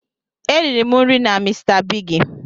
E riri m nri na mr bigi